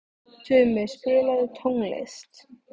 Tumi, spilaðu tónlist.